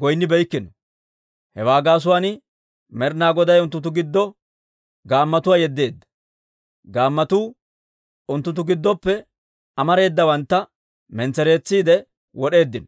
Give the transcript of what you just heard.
goynnibeeykkino. Hewaa gaasuwaan Med'ina Goday unttunttu giddo gaammotuwaa yeddeedda; gaammotuu unttunttu giddoppe amareedawantta mentsereetsiide wod'eeddino.